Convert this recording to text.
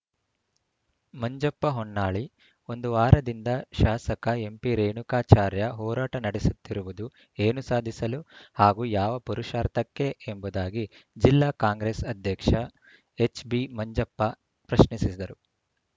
ಮಂಜಪ್ಪ ಹೊನ್ನಾಳಿ ಒಂದು ವಾರದಿಂದ ಶಾಸಕ ಎಂಪಿರೇಣುಕಾಚಾರ್ಯ ಹೋರಾಟ ನಡೆಸುತ್ತಿರುವುದು ಏನು ಸಾಧಿಸಲು ಹಾಗೂ ಯಾವ ಪುರಷಾರ್ಥಕ್ಕೆ ಎಂಬುದಾಗಿ ಜಿಲ್ಲಾ ಕಾಂಗ್ರೆಸ್‌ ಅಧ್ಯಕ್ಷ ಎಚ್‌ಬಿಮಂಜಪ್ಪ ಪ್ರಶ್ನಿಸಿದರು